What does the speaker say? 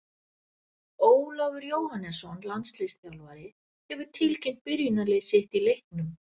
Ólafur Jóhannesson, landsliðsþjálfari, hefur tilkynnt byrjunarlið sitt í leiknum.